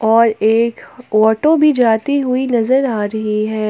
और एक ऑटो भी जाती हुई नजर आ रही है।